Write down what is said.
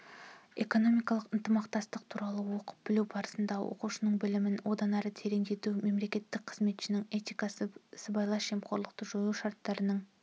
экономикалық ынтымақтастық туралы оқып-білу барысында оқушылардың білімін одан әрі тереңдету мемлекеттік қызметшінің этикасы сыбайлас жемқорлықты жою шарттарының